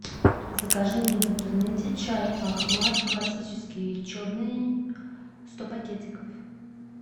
закажи мне в интернете чай ахмад классический черный сто пакетиков